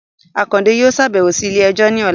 Akande yóò ṣabẹwo si ile-ẹjọ ni ọla